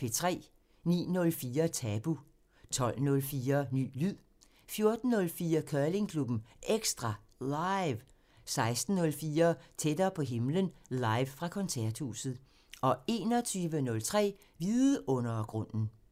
09:04: Tabu 12:04: Ny lyd 14:04: Curlingklubben EKSTRA LIVE 16:04: Tættere på himlen – live fra Koncerthuset 21:03: Vidundergrunden